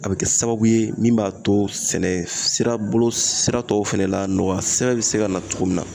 A bɛ kɛ sababu ye min b'a to sɛnɛ sira bolo sira tɔ fana la nɔgɔya sɛbɛn bɛ se ka na cogo min na